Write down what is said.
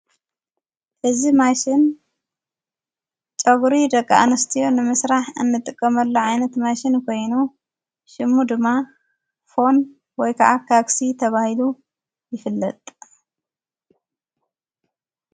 እዝ ማሽን ጨጕሪ ደቂ ኣንስትዮ ንምሥራሕ እንጥቀመሉ ዓይነት ማሽን ኮይኑ ሽሙ ድማ ፎን ወይ ከዓ ካግሲ ተባሂሉ ይፍለጥ ::